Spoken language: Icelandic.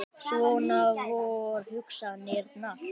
Svona vor hugsanirnar.